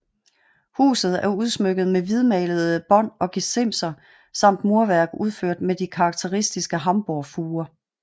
Huset er udsmykket med hvidmalede bånd og gesimser samt murværk udført med de karakteristiske Hamborgfuger